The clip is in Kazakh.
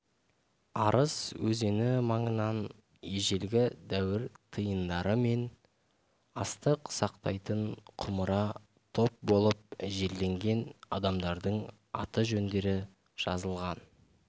арыс өзені маңынан ежелгі дәуір тиындары мен астық сақтайтын құмыра топ болып жерленген адамдардың аты-жөндері жазылған